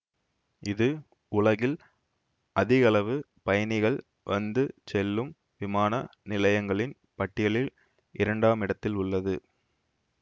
இது உலகில் அதிகளவு பயணிகள் வந்துசெல்லும் விமான நிலையங்களின் பட்டியலில் இரண்டாமிடத்திலுள்ளது